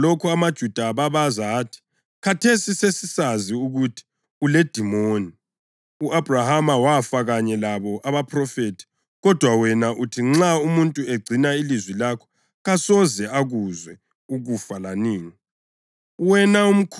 Esizwa lokhu amaJuda ababaza athi, “Khathesi sesisazi ukuthi uledimoni! U-Abhrahama wafa kanye labo abaphrofethi kodwa wena uthi nxa umuntu egcina ilizwi lakho kasoze akuzwe ukufa lanini.